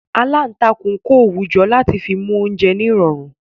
Aláǹtakùn ń kọ́ òwú láti fi mú oúnjẹ nírọ̀rùn